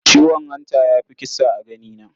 Ciwon hanta ya fi kisa a ganina.